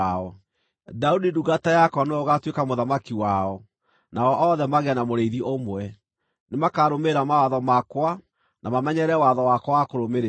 “ ‘Daudi ndungata yakwa nĩwe ũgaatuĩka mũthamaki wao, nao othe magĩe na mũrĩithi ũmwe. Nĩmakarũmĩrĩra mawatho makwa na mamenyerere watho wakwa wa kũrũmĩrĩrwo.